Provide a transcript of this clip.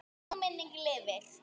Sú minning lifir.